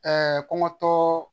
kɔŋɔtɔɔ